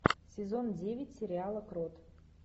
сезон девять сериала крот